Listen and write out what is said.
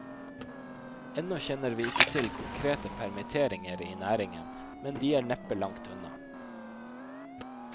Ennå kjenner vi ikke til konkrete permitteringer i næringen, men de er neppe langt unna.